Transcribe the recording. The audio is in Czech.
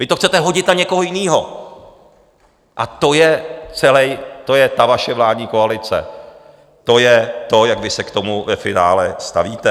Vy to chcete hodit na někoho jiného a to je ta vaše vládní koalice, to je to, jak vy se k tomu ve finále stavíte.